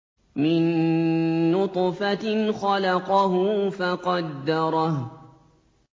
مِن نُّطْفَةٍ خَلَقَهُ فَقَدَّرَهُ